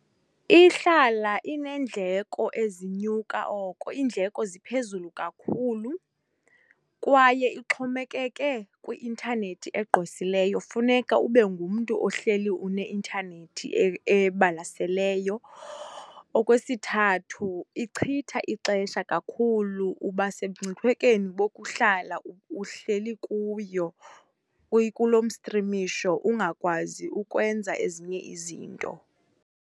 Ihlala ineendleko ezinyuka oko, iindleko ziphezulu kakhulu kwaye ixhomekeke kwi-intanethi egqwesileyo, funeka ube ngumntu ohleli uneintanethi ebalaseleyo. Okwesithathu, ichitha ixesha kakhulu uba semngciphekweni bokuhlala uhleli kuyo, kuloo mstrimisho ungakwazi ukwenza ezinye izinto.